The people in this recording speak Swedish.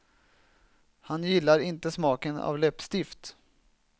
Han gillar inte smaken av läppstift.